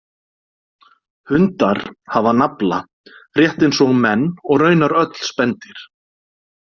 Hundar hafa nafla rétt eins og menn og raunar öll spendýr.